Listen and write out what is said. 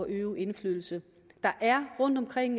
øve indflydelse der er rundtomkring